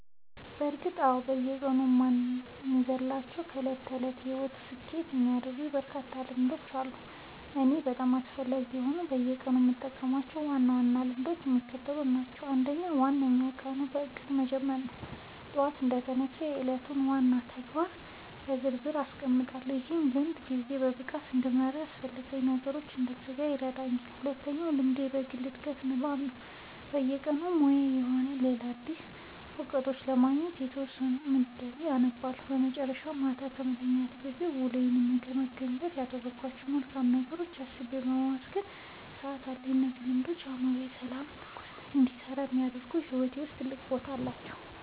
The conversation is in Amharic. በእርግጥ አዎ፤ በየቀኑ የማልዘልላቸው እና የዕለት ተዕለት ሕይወቴን ስኬታማ የሚያደርጉልኝ በርካታ ልምዶች አሉ። ለእኔ በጣም አስፈላጊ የሆኑት እና በየቀኑ የምጠብቃቸው ዋና ዋና ልምዶች የሚከተሉት ናቸው፦ አንደኛው እና ዋነኛው ቀኑን በእቅድ መጀመር ነው። ጠዋት እንደተነሳሁ የዕለቱን ዋና ዋና ተግባራት በዝርዝር አስቀምጣለሁ፤ ይህ ልምድ ጊዜዬን በብቃት እንድመራና በአላስፈላጊ ነገሮች እንዳልዘናጋ ይረዳኛል። ሁለተኛው ልምዴ የግል ዕድገትና ንባብ ነው፤ በየቀኑ በሙያዬም ሆነ በሌላ ዘርፍ አዳዲስ እውቀቶችን ለማግኘት የተወሰነ ሰዓት መድቤ አነባለሁ። በመጨረሻም፣ ማታ ከመተኛቴ በፊት ውሎዬን የምገመግምበት እና ያደረግኳቸውን መልካም ነገሮች አስቤ የማመሰግንበት ሰዓት አለኝ። እነዚህ ልምዶች አእምሮዬ በሰላምና በትኩረት እንዲሰራ ስለሚያደርጉ በሕይወቴ ውስጥ ትልቅ ቦታ አላቸው።"